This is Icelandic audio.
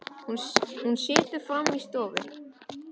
Hún situr frammi í stofu.